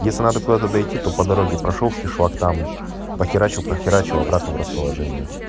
если надо куда-то дойти то по дороге прошёл в кишлак там похерачил похерачил и обратно в расположение